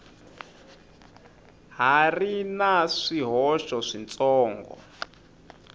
ha ri na swihoxo switsongo